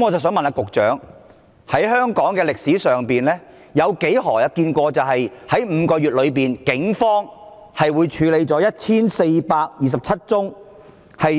我想問局長，在香港的歷史上，何時見過警方在5個月內處理了1429宗涉